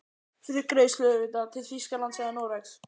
Fyrir greiðslu auðvitað, til Þýskalands eða Noregs?